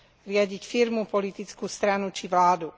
Riadiť firmu, politickú stranu či vládu.